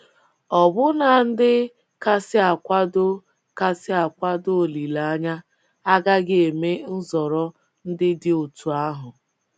Ọbụna ndị kasị akwado kasị akwado olileanya agaghị eme nzọrọ ndị dị otú ahụ.